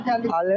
10 manat 50?